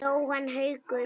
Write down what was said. Jóhann Haukur.